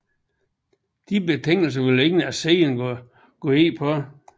Disse betingelser ville ingen af siderne gå ind på